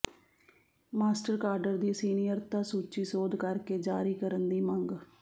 master cadre ਦੀ ਸੀਨੀਅਰਤਾ ਸੂਚੀ ਸੋਧ ਕਰ ਕੇ ਜਾਰੀ ਕਰਨ ਦੀ ਮੰਗ